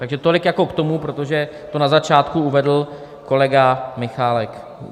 Takže tolik jako k tomu, protože to na začátku uvedl kolega Michálek.